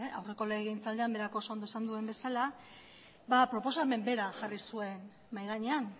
aurreko legegintzaldian berak oso ondo esan duen bezala proposamen bera jarri zuen mahai gainean